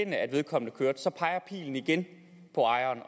at vedkommende kørte bilen så peger pilen igen på ejeren